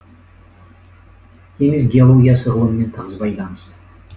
теңіз геологиясы ғылымымен тығыз байланысты